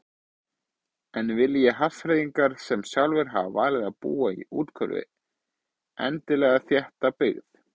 En vilji Hafnfirðingar sem sjálfir hafa valið að búa í úthverfi endilega þétta byggð?